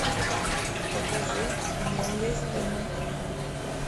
покажи неуязвимый